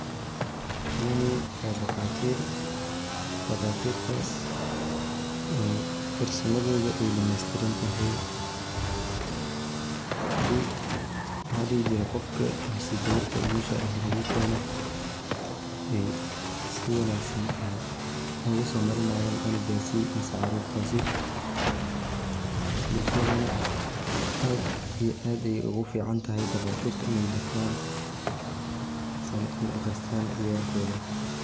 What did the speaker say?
Kuwani waa duqaatir daaqatirtas oo farsamadooda aya dhameestirantahay si maxa ladhihi jire qofka mise geberta umusha eh logu keeno ay si wanaagsan ay oguso marina canugaasi mise caarurtaasi, bulshadana aad iyo ayay ogu fican tahay daqaatirta inay batan misena ay aqristaan ciyalkooda